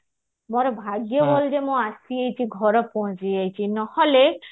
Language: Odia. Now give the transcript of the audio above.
ମୋର ଭାଗ୍ୟ ଭଲ ଯେ ମୁଁ ଆସିଯାଇଛି ଘରେ ପହଞ୍ଚି ଯାଇଛି ନହଲେ